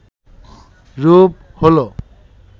রূপ হল